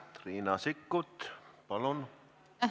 Riina Sikkut, palun!